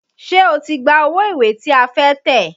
Ṣé o ti gba owó ìwé tí a fẹ́ tẹ̀?